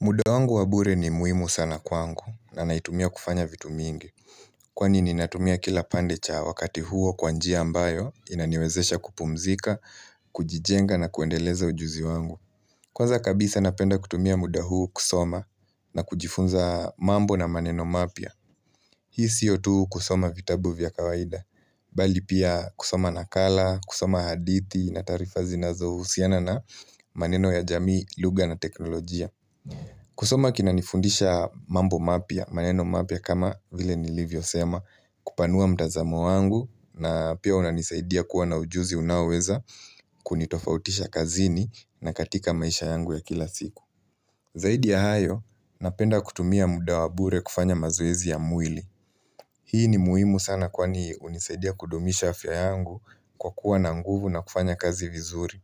Muda wangu wa bure ni muimu sana kwangu na naitumia kufanya vitu mingi. Kwani ni natumia kila pande cha wakati huo kwa njia ambayo, inaniwezesha kupumzika, kujijenga na kuendeleza ujuzi wangu. Kwanza kabisa napenda kutumia muda huu kusoma na kujifunza mambo na maneno mapya. Hii siyo tu kusoma vitabu vya kawaida, bali pia kusoma nakala, kusoma hadithi na taarifa zinazohusiana na maneno ya jamii, lugha na teknolojia. Kusoma kinanifundisha mambo mapya, maneno mapya kama vile nilivyosema kupanua mtazamo wangu na pia unanisaidia kuwa na ujuzi unaoweza Kunitofautisha kazini na katika maisha yangu ya kila siku Zaidi ya hayo, napenda kutumia muda wa bure kufanya mazoezi ya mwili Hii ni muhimu sana kwani unisaidia kudumisha afya yangu kwa kuwa na nguvu na kufanya kazi vizuri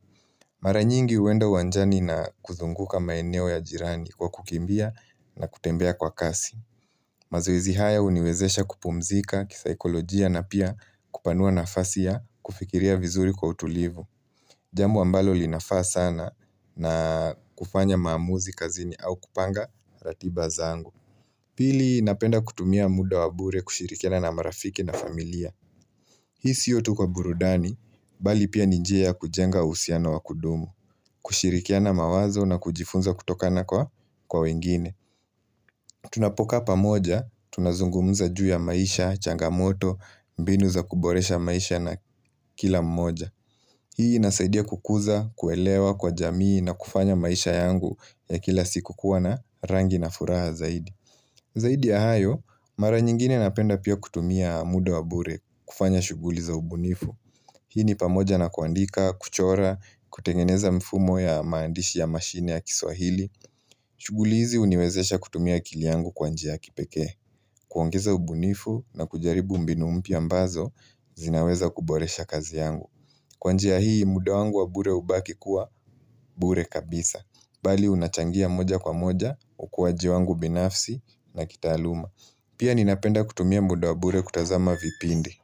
Mara nyingi huenda uwanjani na kuzunguka maeneo ya jirani kwa kukimbia na kutembea kwa kasi. Mazoezi haya uniwezesha kupumzika kisaikolojia na pia kupanua nafasi ya kufikiria vizuri kwa utulivu. Jambo ambalo linafaa sana na kufanya maamuzi kazini au kupanga ratiba zangu. Pili, napenda kutumia muda wa bure kushirikiana na marafiki na familia. Hii siyo tu kwa burudani, bali pia ni njia ya kujenga uhusiano wa kudumu, kushirikiana mawazo na kujifunza kutokana kwa wengine. Tunapokaa pamoja, tunazungumza juu ya maisha, changamoto, mbinu za kuboresha maisha na kila mmoja. Hii inasaidia kukuza, kuelewa kwa jamii na kufanya maisha yangu ya kila siku kuwa na rangi na furaha zaidi. Zaidi ya hayo, mara nyingine napenda pia kutumia muda wa bure kufanya shuguli za ubunifu. Hii ni pamoja na kuandika, kuchora, kutengeneza mfumo ya maandishi ya mashine ya kiswahili shuguli hizi huniwezesha kutumia akili yangu kwa njia ya kipekee kuongeza ubunifu na kujaribu mbinu mpya ambazo zinaweza kuboresha kazi yangu Kwa njia hii muda wangu wa bure hubaki kuwa bure kabisa Bali unachangia moja kwa moja, ukuwaji wangu binafsi na kitaaluma Pia ninapenda kutumia muda wa bure kutazama vipindi.